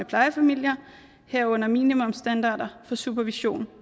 plejefamilier herunder minimumsstandarder for supervision